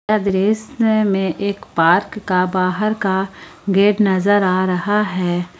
यह दृश्य में एक पार्क का बाहर का गेट नजर आ रहा है।